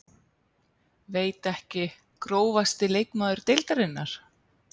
Veit ekki Grófasti leikmaður deildarinnar?